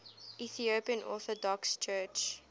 ethiopian orthodox church